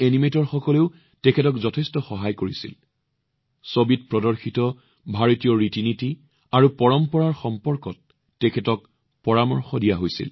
ভাৰতীয় এনিমেটৰসকলেও তেওঁক ইয়াত যথেষ্ট সহায় কৰিছিল তেওঁ ছবিখনত দেখুওৱা ভাৰতীয় ৰীতিনীতি আৰু পৰম্পৰাৰ বিষয়ে নিৰ্দেশনা লাভ কৰিছিল